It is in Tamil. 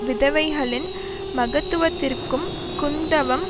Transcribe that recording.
விதவைகளின் மகத்துவத்திற்கும் குந்தவம்